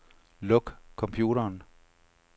Luk computeren.